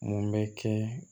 Mun bɛ kɛ